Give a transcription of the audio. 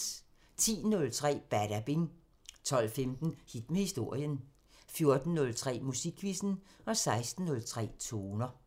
10:03: Badabing 12:15: Hit med historien 14:03: Musikquizzen 16:03: Toner